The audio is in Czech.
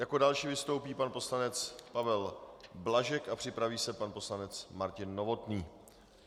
Jako další vystoupí pan poslanec Pavel Blažek a připraví se pan poslanec Martin Novotný.